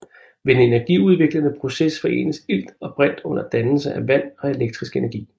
Ved den energiudviklende proces forenes ilt og brint under dannelse af vand og elektrisk energi